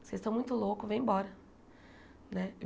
Vocês estão muito loucos, vem embora né.